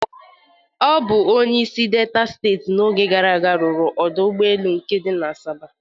Ọ bụ onyeisi Delta steeti n'oge gara aga rụrụ ọdọ ụgbọelu nke di na Asaba